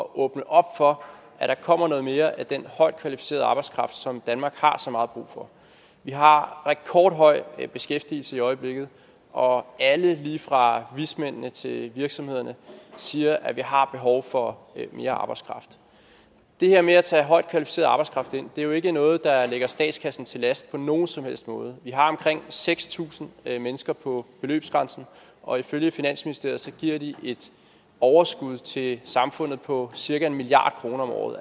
åbne op for at der kommer noget mere af den højt kvalificerede arbejdskraft som danmark har så meget brug for vi har rekordhøj beskæftigelse i øjeblikket og alle lige fra vismændene til virksomhederne siger at vi har behov for mere arbejdskraft det her med at tage højt kvalificeret arbejdskraft ind er jo ikke noget der ligger statskassen til last på nogen som helst måde vi har omkring seks tusind mennesker på beløbsgrænsen og ifølge finansministeriet giver de et overskud til samfundet på cirka en milliard kroner om året